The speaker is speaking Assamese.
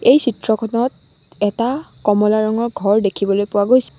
এই চিত্ৰখনত এটা কমলা ৰঙৰ ঘৰ দেখিবলৈ পোৱা গৈছে।